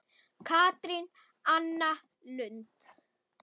Katrín Anna Lund.